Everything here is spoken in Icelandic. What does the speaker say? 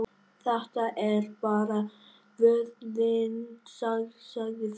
Þetta er bara vöðvinn, sagði Finnur.